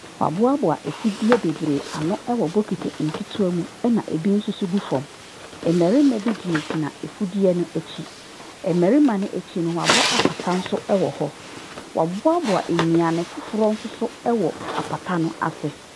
Wabuabua afudeɛ bebree ano wɔ bokiti nkitiwaa mu ɛna ebi nsoso gu fɔm. Mmɛrima bi gyinagyina afudeɛ ne ho. Mɛrimma ekyi no wabɔ apata so ɛwɔ hɔ. Wabuabua eduano fofro nsoso ɛwɔ apata no ase.